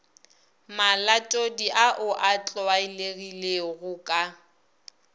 malatodi ao a tlwaelegilego ka